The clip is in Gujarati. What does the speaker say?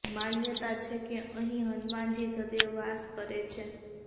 માન્યતા છે કે અહીં હનુમાનજી સદૈવ વાસ કરે છે